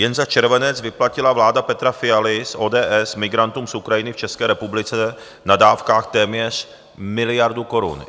Jen za červenec vyplatila vláda Petra Fialy z ODS migrantům z Ukrajiny v České republice na dávkách téměř miliardu korun.